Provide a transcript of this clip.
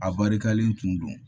A barikalen tun don